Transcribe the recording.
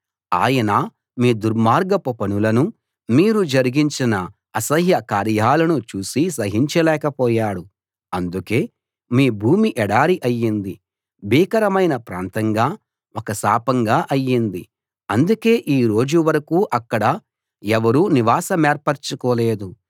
ఆయన మీ దుర్మార్గపు పనులనూ మీరు జరిగించిన అసహ్య కార్యాలనూ చూసి సహించలేక పోయాడు అందుకే మీ భూమి ఎడారి అయింది భీకరమైన ప్రాంతంగా ఒక శాపంగా అయింది అందుకే ఈ రోజు వరకూ అక్కడ ఎవరూ నివాసమేర్పరచుకోలేదు